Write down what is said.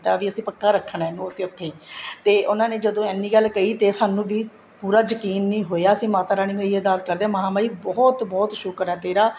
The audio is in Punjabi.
ਵੀ ਅਸੀਂ ਪੱਕਾ ਰੱਖਣਾ ਇਹਨੂੰ ਅਸੀਂ ਉੱਥੇ ਤੇ ਉਹਨਾ ਨੇ ਜਦੋਂ ਇੰਨੀ ਗੱਲ ਕਹੀ ਤੇ ਸਾਨੂੰ ਵੀ ਪੂਰਾ ਯਕੀਨ ਨਹੀਂ ਹੋਇਆ ਅਸੀਂ ਮਾਤਾ ਰਾਣੀ ਨੂੰ ਇਹੀ ਅਰਦਾਸ ਕਰਦੇ ਹਾਂ ਮਹਾਮਾਹੀ ਬਹੁਤ ਬਹੁਤ ਸ਼ੁਕਰ ਹੈ ਤੇਰਾ